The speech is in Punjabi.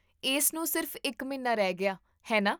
ਇਸ ਨੂੰ ਸਿਰਫ਼ ਇੱਕ ਮਹੀਨਾ ਰਹਿ ਗਿਆ, ਹੈ ਨਾ?